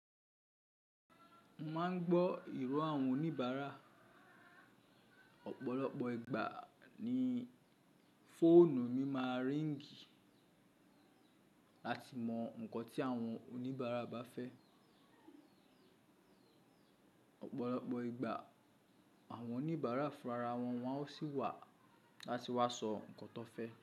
Mo máà ń gbọ́ ìró àwọn oníbàárà. Ọ̀pọ̀lọpọ̀ ìgbà ní fóònù mi máa ríngì láti mọ nǹkan tí àwọn oníbàárà bá fẹ́. Ọ̀pọ̀lọpọ̀ ìgbà àwọn oníbàárà fúnra wọn wọ́n ó sì wà láti wá sọ nǹkan tó fẹ́.